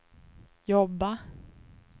jobba